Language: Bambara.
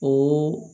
O